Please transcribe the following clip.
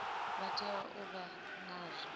vha tea u vha nazwo